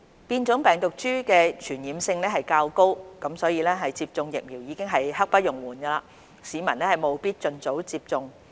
變種病毒株的傳染性較高，接種疫苗已經是刻不容緩，市民務必盡早接種。